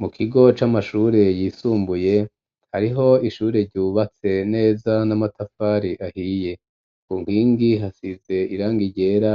Mu kigo c'amashure yisumbuye hariho ishure ryubatse neza n'amatafari ahiye ku nkingi hasize irangi ryera